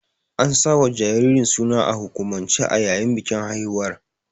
An sawa jaririn suna a hukumance a yayin bikin haihuwar.